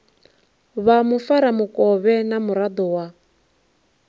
vha mufaramukovhe na muraḓo wa